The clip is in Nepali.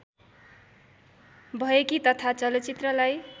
भएकी तथा चलचित्रलाई